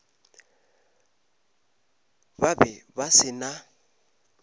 ba be ba se na